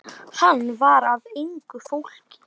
Hann var af engu fólki.